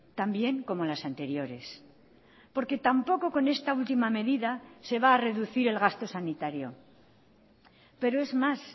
también como las anteriores porque tampoco con esta última medida se va a reducir el gasto sanitario pero es más